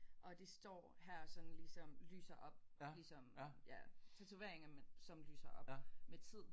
Og de står her sådan ligesom lyser op ligesom ja tatoveringer men som lyser op med tid